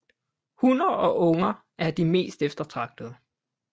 Hunner og unger er de mest eftertragtede